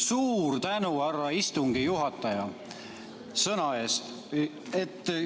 Suur tänu, härra istungi juhataja, sõna eest!